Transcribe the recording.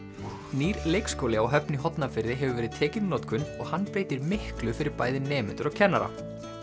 nýr leikskóli á Höfn í Hornafirði hefur verið tekinn í notkun og hann breytir miklu fyrir bæði nemendur og kennara